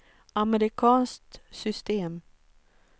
amerikanskt system